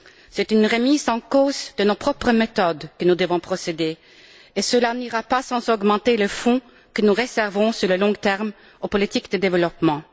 C'est à une remise en cause de nos propres méthodes que nous devons procéder, et cela n'ira pas sans augmenter les fonds que nous réservons à long terme aux politiques de développement.